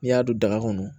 N'i y'a don daga kɔnɔ